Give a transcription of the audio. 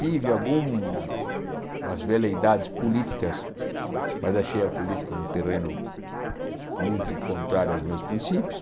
Tive algumas veleidades políticas, mas achei a política um terreno muito contrário aos meus princípios.